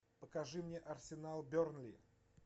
покажи мне арсенал бернли